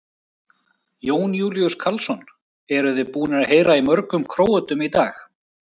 Jón Júlíus Karlsson: Eruð þið búnir að heyra í mörgum Króötum í dag?